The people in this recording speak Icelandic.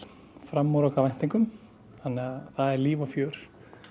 framar okkar væntingum þannig að það er líf og fjör